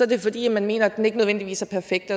det fordi man mener at den ikke nødvendigvis er perfekt